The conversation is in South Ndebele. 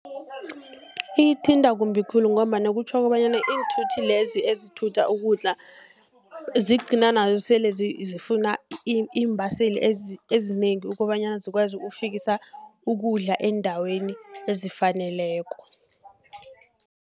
Iyithinta kumbi khulu, ngombana kutjho kobanyana iinthuthi lezi ezithutha ukudla, zigcina nazo sele zifuna iimbaseli ezinengi, ukobanyana zikwazi ukufikisa ukudla eendaweni ezifaneleko.